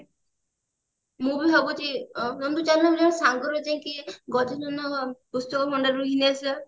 ମୁଁ ବି ଭାବୁଛି ଅ ନନ୍ଦୁ ଚାଲୁନୁ ସାଙ୍ଗରେ ଯାଇକି ଗଜାନନ book store ବୁଲି ଦେଇ ଆସିବା